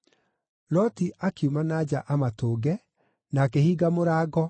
Loti akiuma na nja amatũnge, na akĩhinga mũrango,